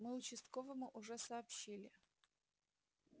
мы участковому уже сообщили